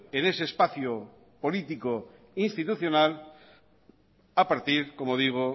en ese espacio político e institucional a partir como digo